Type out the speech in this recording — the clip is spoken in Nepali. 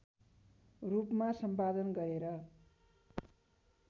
रूपमा सम्पादन गरेर